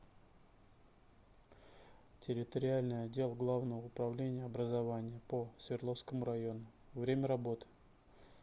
территориальный отдел главного управления образования по свердловскому району время работы